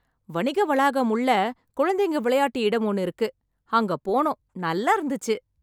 வணிக வளாகம் உள்ள குழந்தைங்க விளையாட்டு இடம் ஒண்ணு இருக்கு. அங்க போனோம் நல்லா இருந்துச்சு.